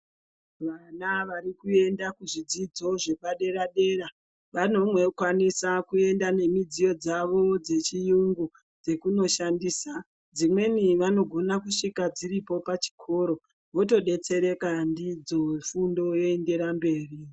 Vana varikuenda kuzvidzidzo zvepadera dera vanokwanisa kuenda nemidziyo dzavo dzechiyungu dzekundoshandisa dzimweni vanogona kusvika dziripo pachikoro votodetsereka ndidzo fundo yoendera mberi.